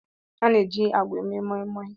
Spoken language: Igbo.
A na-eji agwa mee Moimoi.